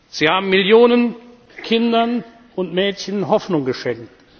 Sie haben Millionen Kindern und Mädchen Hoffnung geschenkt.